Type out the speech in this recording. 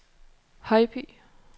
Højby